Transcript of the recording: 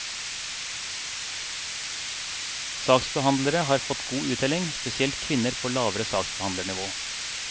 Saksbehandlere har fått god uttelling, spesielt kvinner på lavere saksbehandlernivå.